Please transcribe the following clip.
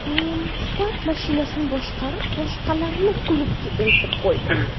Men Spark mashinasini boshqarib, boshqalarni klubga eltib qo‘ydim.